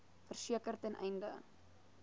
verseker ten einde